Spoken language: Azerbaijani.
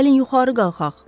Gəlin yuxarı qalxaq.